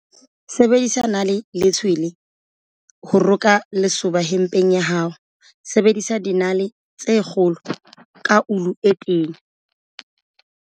Sebedisa nale le tshwele ho roka lesoba hempeng ya hao, sebedisa dinale tse kgolo ka ulu e tenya.